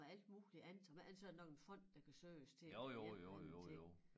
Med alt muligt andet som er alt sådan nok en fond der kan søges til eller en eller anden ting